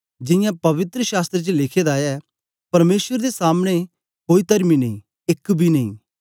जियां पवित्र शास्त्र च लिखे दा ऐ परमेसर दे सामने कोई तरमी नेई एक बी नेई